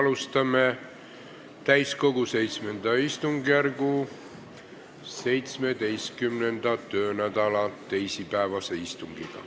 Alustame täiskogu VII istungjärgu 17. töönädala teisipäevast istungit.